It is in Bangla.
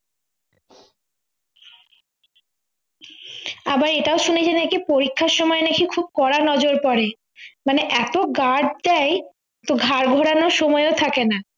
আবার এটাও শুনেছি নাকি পরীক্ষার সময় নাকি খুব কড়া নজর পরে মানে এত guard দেয় তো ঘাড় ঘোরানোর সময়ও থাকে না